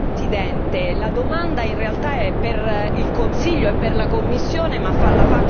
La domanda in realtà è per il Consiglio e per la Commissione ma la faccio all'on.